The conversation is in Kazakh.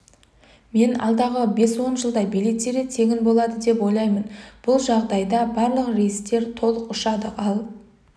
мен алдағы бес-он жылда билеттері тегін болады деп ойлаймын бұл жағдайда барлық рейстер толық ұшады ал